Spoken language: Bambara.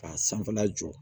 K'a sanfɛla jɔ